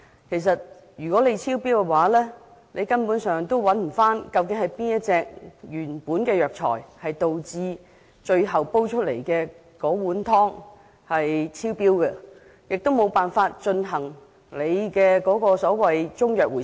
其實，如果在這階段發現超標，根本不會知道究竟是哪一種藥材導致最後煎煮出來的藥湯超標，故此無法進行中藥安全令所指示的回收。